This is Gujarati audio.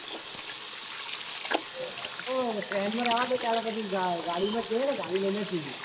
આપડો train માં રેવદો તાન પછી ગાડી માં જ જઈએ ગાડી લઈને જ જઈએ.